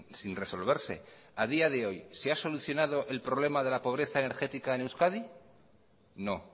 sin resolverse a día de hoy se ha solucionado el problema de la pobreza energética en euskadi no